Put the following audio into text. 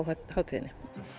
hátíðinni